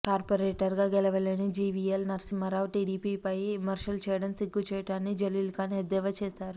కార్పొరేటర్గా గెలవలేని జివిఎల్ నరసింహారావు టీడీపీపై విమర్శలు చేయటం సిగ్గుచేటు అని జలీల్ ఖాన్ ఎద్దేవా చేశారు